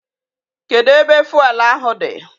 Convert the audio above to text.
Kedu ebe fụelụ ahụ dị?